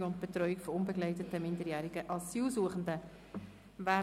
Unterbringung und Betreuung von unbegleiteten minderjährigen Asylsuchenden (UMA)».